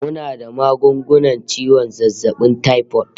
Muna da magungunan ciwon zazzabin taifot